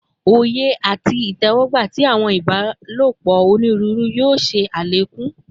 Oye ati itẹwọgba ti awọn ibalopọ oniruuru yoo ṣe alekun